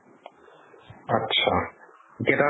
আত্ছা, কেইটা